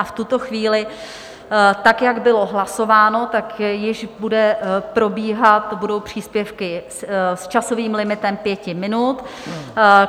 A v tuto chvíli, tak jak bylo hlasováno, tak již bude probíhat, budou příspěvky s časovým limitem pěti minut.